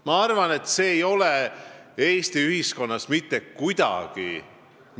Ma arvan, et see ei ole Eesti ühiskonnas kohane.